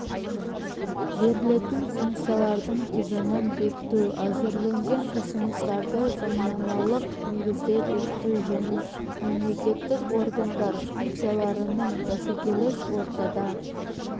берілетін функциялардың тізімін бекіту әзірленген ұсыныстарды заңнамалық негізде бекіту және мемлекеттік органдар функцияларының бәсекелес ортада